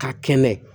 Ka kɛnɛ